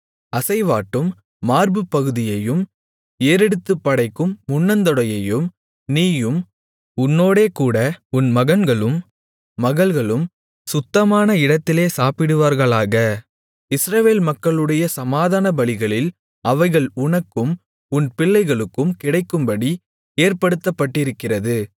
அசைவாட்டும் மார்புப்பகுதியையும் ஏறெடுத்துப் படைக்கும் முன்னந்தொடையையும் நீயும் உன்னோடேகூட உன் மகன்களும் மகள்களும் சுத்தமான இடத்திலே சாப்பிடுவீர்களாக இஸ்ரவேல் மக்களுடைய சமாதானபலிகளில் அவைகள் உனக்கும் உன் பிள்ளைகளுக்கும் கிடைக்கும்படி ஏற்படுத்தப்பட்டிருக்கிறது